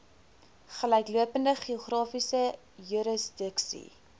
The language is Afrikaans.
gelyklopende geografiese jurisdiksie